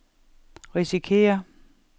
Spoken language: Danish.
risikerer